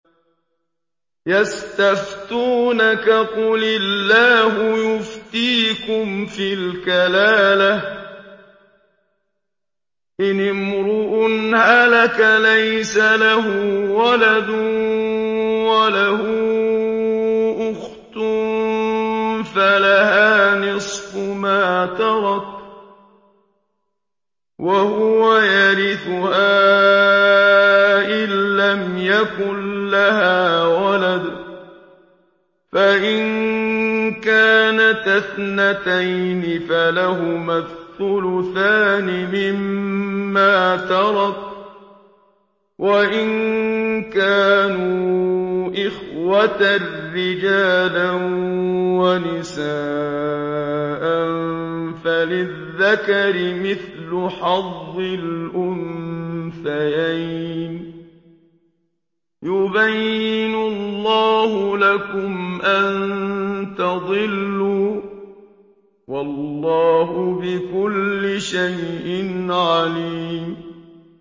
يَسْتَفْتُونَكَ قُلِ اللَّهُ يُفْتِيكُمْ فِي الْكَلَالَةِ ۚ إِنِ امْرُؤٌ هَلَكَ لَيْسَ لَهُ وَلَدٌ وَلَهُ أُخْتٌ فَلَهَا نِصْفُ مَا تَرَكَ ۚ وَهُوَ يَرِثُهَا إِن لَّمْ يَكُن لَّهَا وَلَدٌ ۚ فَإِن كَانَتَا اثْنَتَيْنِ فَلَهُمَا الثُّلُثَانِ مِمَّا تَرَكَ ۚ وَإِن كَانُوا إِخْوَةً رِّجَالًا وَنِسَاءً فَلِلذَّكَرِ مِثْلُ حَظِّ الْأُنثَيَيْنِ ۗ يُبَيِّنُ اللَّهُ لَكُمْ أَن تَضِلُّوا ۗ وَاللَّهُ بِكُلِّ شَيْءٍ عَلِيمٌ